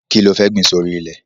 Kí lo fẹ́ gbìn sórí ilẹ̀?